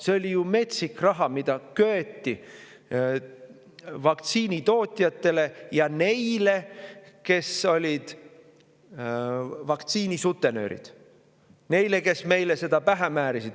See oli ju metsik raha, mida köeti vaktsiinitootjatele ja neile, kes olid vaktsiinisutenöörid, kes meile seda pähe määrisid.